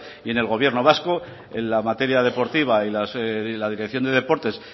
y en el gobierno vasco en la materia deportiva y la dirección de deportes